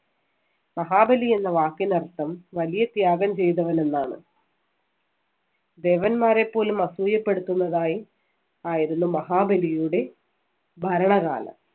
മഹാബലി എന്ന വാക്കിന്‍റെ അർത്ഥം വലിയ ത്യാഗം ചെയ്തവൻ എന്നാണ്. ദേവന്മാരെ പോലും അസൂയപ്പെടുത്തുന്നതായി ആയിരുന്നു മഹാബലിയുടെ ഭരണകാലം.